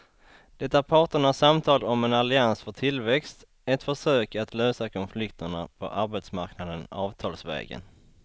Det är parternas samtal om en allians för tillväxt, ett försök att lösa konflikterna på arbetsmarknaden avtalsvägen.